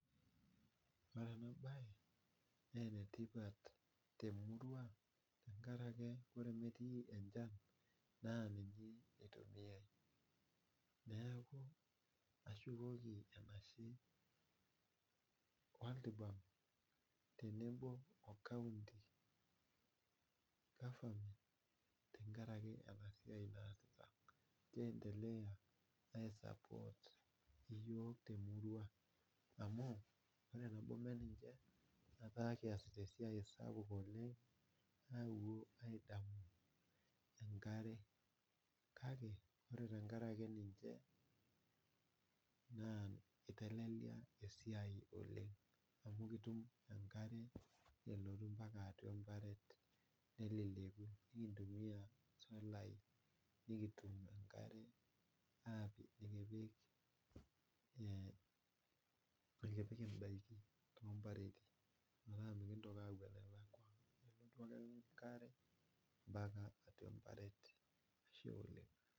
Ore enabae na enetipat te murua tenkaraki ore metii enchan na niche itumiai tenkaraki neaku ashukoki enashe world bank tenebo o county tenkaraki enasiai naasita kiendelea ai support[cs[ yiok temurua amu ore enanyorie ninche ataa keasita esiai esiai oleng enkare kake ore tenkaraki ninche na itelelia esiai oleng amu ekitum enkare elotu mpaka neleleku nikintumia solai nikitum enkare napik mikintoki apuo enalkwa mbakaka atua embaret ,ashe oleng